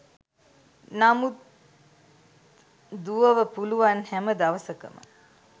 නමුත් දුවව පුළුවන් හැම දවසකම